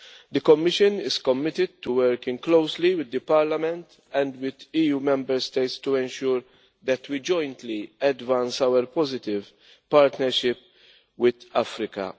The Commission is committed to working closely with Parliament and the EU Member States to ensure that we jointly advance our positive partnership with Africa.